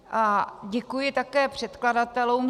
A děkuji také předkladatelům.